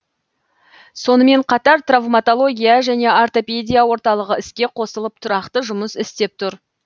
сонымн қатар травматология және ортопедия орталығы іске қосылып тұрақты жұмыс істеп тұр